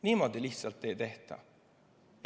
Niimoodi lihtsalt ei tehta!